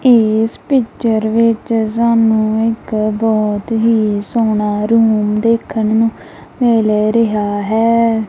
ਇਸ ਪਿਚਰ ਵਿੱਚ ਸਾਨੂੰ ਇੱਕ ਬਹੁਤ ਹੀ ਸੋਹਣਾ ਰੂਮ ਦੇਖਣ ਨੂੰ ਮਿਲ ਰਿਹਾ ਹੈ।